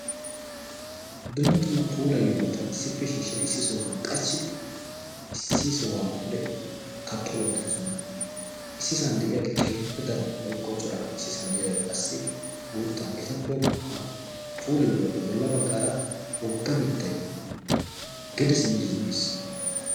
dumma dumma puulayiyoobata issippe shiishshid issi sohuhan qachchidi issi sohuwaara pude kaqqe wottidosona issi san de'iyaagee keehippe daro woykko cora issisan de'iyaagee qassi guutta etappe puulayiyoobaappe bolla baggaara wogga mittay gede simidi zin'iis